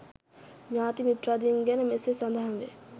ඥාති මිත්‍රාදීන් ගැන මෙසේ සඳහන් වේ.